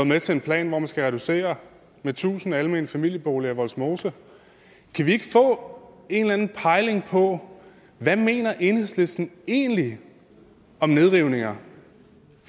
med til en plan hvor man skal reducere med tusind almene familieboliger i vollsmose kan vi ikke få en eller anden pejling på hvad mener enhedslisten egentlig om nedrivninger